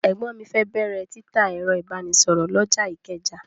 Ẹ̀gbọ́n mi fẹ́ bẹ̀rẹ̀ títa ẹ̀rọ ìbánisọ̀rọ̀ lọ́jà Ìkẹjà.